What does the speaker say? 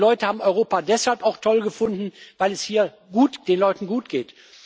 uns. Die Leute haben Europa deshalb auch toll gefunden, weil es hier den Leuten gutgeht.